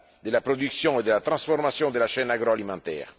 de la production et de la transformation de la chaîne agroalimentaire.